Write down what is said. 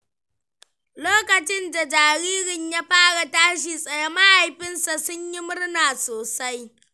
Lokacin da jaririn ya fara tashi tsaye, mahaifansa sun yi murna sosai.